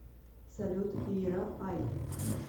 салют ира ай